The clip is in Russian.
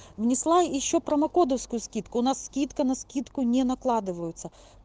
внесла ещё промокодовскую скидку у нас скидка на скидку не накладываются